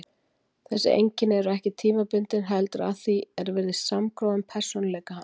Þessi einkenni eru ekki tímabundin heldur að því er virðist samgróin persónuleika hans.